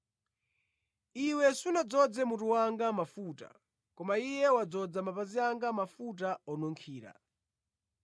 Iwe sunadzoze mutu wanga mafuta, koma iye wadzoza mapazi anga mafuta onunkhira.